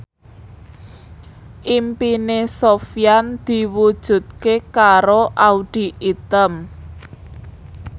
impine Sofyan diwujudke karo Audy Item